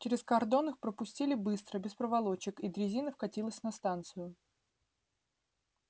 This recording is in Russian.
через кордон их пропустили быстро без проволочек и дрезина вкатилась на станцию